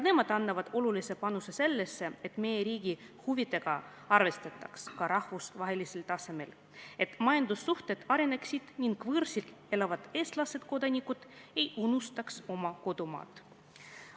Nemadki annavad olulise panuse sellesse, et meie riigi huvidega arvestataks ka rahvusvahelisel tasemel, et majandussuhted areneksid ning võõrsil elavad eestlased, kodanikud ei unustaks oma kodumaad.